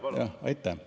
Palun!